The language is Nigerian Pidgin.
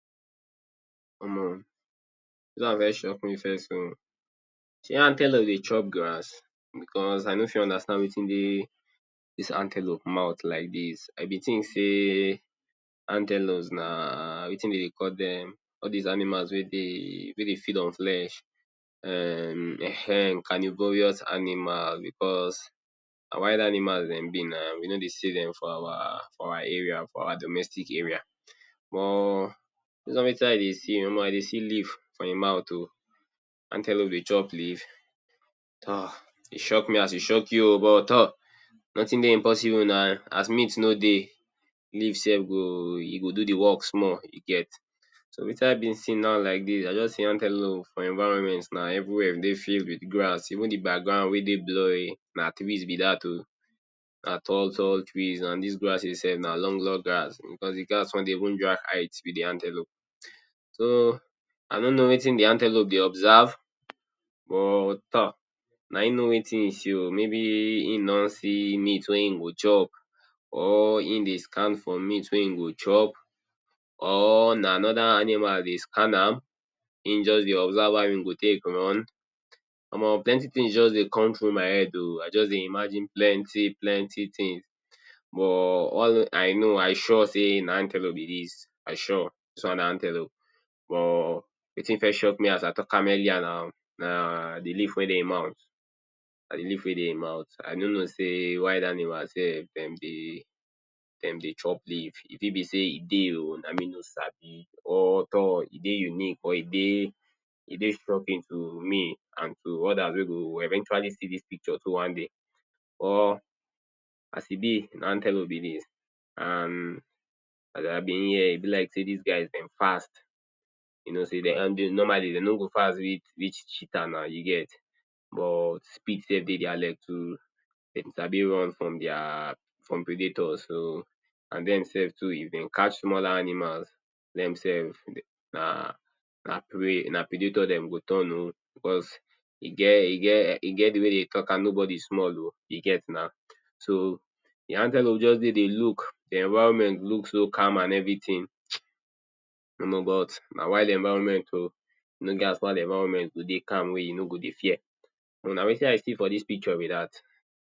Omo, dis one first shock me first oh. Shey antelope dey chop grass? becos I no fit understand wetin dey dis antelope mouth like dis. I be think sey antelopes na, wetin de dey call dem? All dese animals wey dey, wey dey feed on flesh, um, um carnivorous animal because na wild animals dem be na. We no dey see dem for our, for our area, for our domestic area. But, base on wetin i dey see, omo, i dey see leaf for im mouth oh. Antelope dey chop leaf? ta! E shock me as e shock you oh, but tor! nothing dey imposible na. As meat no dey, leaf self go, e go do the work small, you get. So, wetin i dey se now like dis? I don see antelope for im environment na. Everywhere dey filled with grass. Even the background wey dey blurring, na trees be dat oh. Na tall tall trees and dis grasses self, na long log grass because the grass con dey even drag height with the antelop. So, I no know wetin the antelope dey observe, but tor! Na im know wetin e see oh. Maybe im don see meat wey im go chop im dey scan for meat wey im go chop or na anoda animal dey scan am. Im just dey observe how im go take run. Omo, plenty things just dey come through my head oh. I just dey imagine plenty plenty things. But all i know, i sure sey na antelope be dis. I sure, dis one na antelope but the thing first shock me as i talk am earlier na. Na the leaf wey dey im mouth. Na the leaf wey dey im mouth. I no know sey wild animal self, de dey de dey chop leaf. E fit be sey e dey oh, na me no sabi or tor! E dey unique or e dey e dey shocking to me and to others wey go eventually see dis picture too one day. Or as e be, na antelope be dis and as i bin here e like sey dis guys dem fast. You know sey normally dey no go fast reach cheetah na, you get. But speed self dey their leg too. Dem sabi run from their, from predator. So, and dem self too, if de catch smaller animal, dem self na na prey na predator dem go turn oh becos e get e get e get the way wey de dey talk am "Nobody small oh" you get na. So, the antelope just dey dey look. The environment looks so calm and everything [hiss]. Omo, but na wild environment oh. E no get as wild environment go dey calm wey you no go dey fear. Omo, na wetin i see for dis picture be dat.